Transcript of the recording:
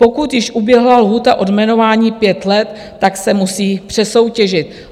Pokud již uběhla lhůta od jmenování 5 let, tak se musí přesoutěžit.